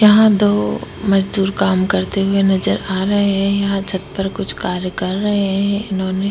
यहां दो मजदूर काम करते हुए नजर आ रहे हैं यहां छत पर कुछ कार्य कर रहे हैं इन्होंने--